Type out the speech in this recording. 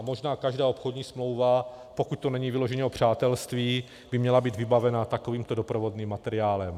A možná každá obchodní smlouva, pokud to není vyloženě o přátelství, by měla být vybavena takovýmto doprovodným materiálem.